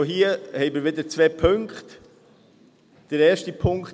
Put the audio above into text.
Auch hier haben wir wieder zwei Punkte.